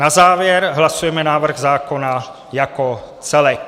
Na závěr hlasujeme návrh zákona jako celek.